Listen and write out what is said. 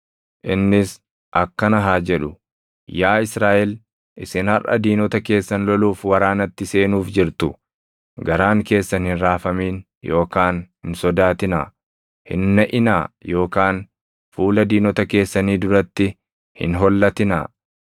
Innis akkana haa jedhu; “Yaa Israaʼel, isin harʼa diinota keessan loluuf waraanatti seenuuf jirtu. Garaan keessan hin raafamin yookaan hin sodaatinaa; hin naʼinaa yookaan fuula diinota keessanii duratti hin hollatinaa.